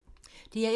DR1